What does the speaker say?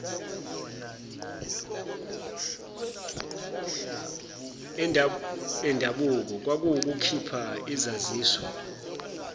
endabuko kwakuwukukhipha izaziso